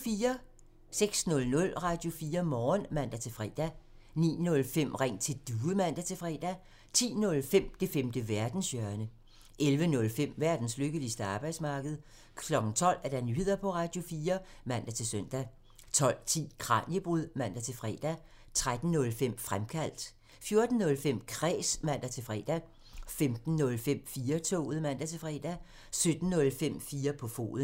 06:00: Radio4 Morgen (man-fre) 09:05: Ring til Due (man-fre) 10:05: Det femte verdenshjørne (man) 11:05: Verdens lykkeligste arbejdsmarked (man) 12:00: Nyheder på Radio4 (man-søn) 12:10: Kraniebrud (man-fre) 13:05: Fremkaldt (man) 14:05: Kræs (man-fre) 15:05: 4-toget (man-fre) 17:05: 4 på foden (man)